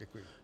Děkuji.